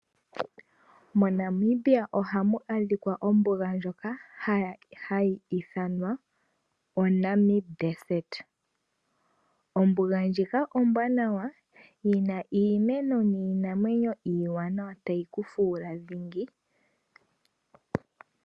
MoNamibia oha mu adhika ombuga ndjoka hayi ithanwa Namib Desert. Ombuga ndjika ombwanawa yina iimeno niinamwenyo iiwanawa.